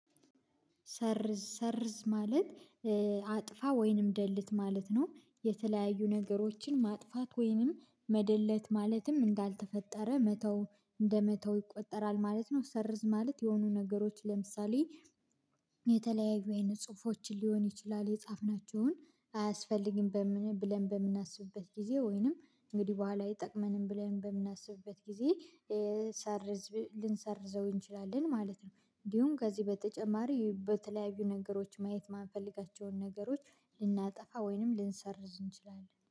ሰርዝ ሰርዝ ማለት አጥፋ ወይንም ደልት ማለት ነው የተለያዩ ነገሮችን ማጥፋት ወይንም መደለት ማለትም እንዳልተፈጠረ መተው እንደመተው ይቆጠራል ማለት ነው። ሰርዝ ማለት የሆኑ ነገሮች ለምሳሌ። የተለያዩ አይነት ጽሁፎችን ሊሆን ይችላል የጻፍናቸውን አያስፈልግም ብለን በምናስብበት ጊዜ ወይንም እንግዲህ በኋላ አይጠቅመንም ብለን በምናስብበት ጊዜ ሰርዝ ልንሰርዘው እንችላለን ማለት ነው። እንዲሁም ከዚህ በተጨማሪ በተለያዩ ነገሮች ማየት የማንፈልጋቸውን ነገሮች ልናጠፋ ወይንም ልንሰርዝ እንችላለን